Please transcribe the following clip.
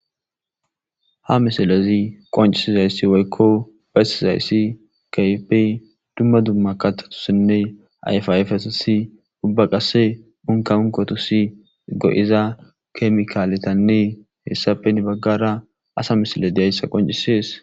Ha misilezii qonccisizayssi woykko bessizayssi keehippe dumma dumma kaththatusinne ayfa ayfetus uubba qase umkaunkotisii go'iza kemikaletanne hessappe heni baggara asa misiley diyayissa qonccises